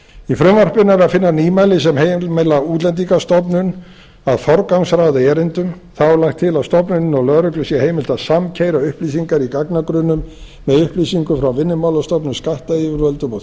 í frumvarpinu er að finna nýmæli sem heimila útlendingastofnun að forgangsraða erindum þá er lagt til að stofnuninni og lögreglu sé heimilt að samkeyra upplýsingar í gagnagrunnum með upplýsingum frá vinnumálastofnun skattyfirvöldum og